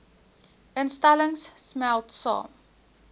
instellings smelt saam